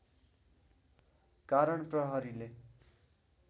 कारण प्रहरीले